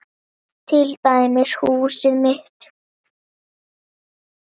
Til dæmis húsið mitt.